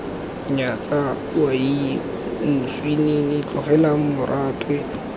nyatsa owaii moswinini tlogela moratwe